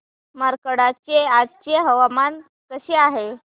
मार्कंडा चे आजचे हवामान कसे आहे